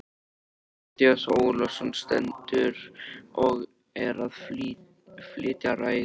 Matthías Ólafsson stendur og er að flytja ræðu.